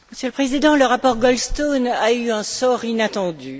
Monsieur le Président, le rapport Goldstone a eu un sort inattendu.